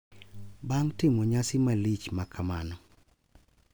Bang’ timo nyasi malich makamano,